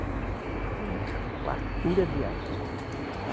Porque temos fartura de água. a